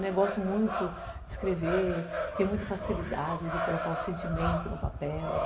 Eu gosto muito de escrever, tenho muita facilidade de colocar o sentimento no papel.